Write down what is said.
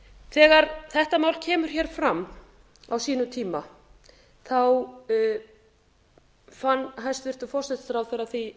þegar þetta mál kemur hér fram á sínum tíma fann hæstvirtur forsætisráðherra því